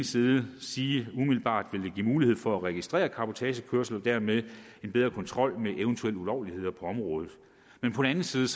side sige at det umiddelbart vil give mulighed for at registrere cabotagekørsel og dermed give en bedre kontrol med eventuelle ulovligheder på området men på den anden side